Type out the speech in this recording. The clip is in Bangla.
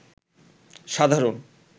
সাধারণ